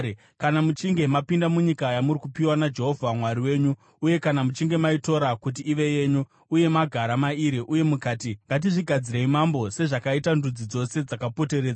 Kana muchinge mapinda munyika yamuri kupiwa naJehovha Mwari wenyu uye kana muchinge maitora kuti ive yenyu, uye magara mairi, uye mukati, “Ngatizvigadzirei mambo sezvakaita ndudzi dzose dzakapoteredza,”